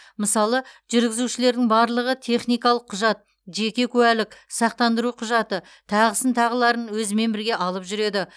мысалы жүргізушілердің барлығы техникалық құжат жеке куәлік сақтандыру құжаты тағысын тағыларын өзімен бірге алып жүреді